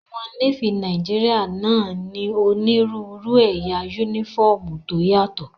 Àwọn Nééfì Nàìjíríyà náà ní onírúurú ẹ̀yà yúnífọ́ọ̀mù tó yàtọ̀